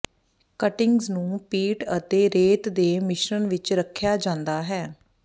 cuttings ਨੂੰ peat ਅਤੇ ਰੇਤ ਦੇ ਮਿਸ਼ਰਣ ਵਿੱਚ ਰੱਖਿਆ ਜਾਂਦਾ ਹੈ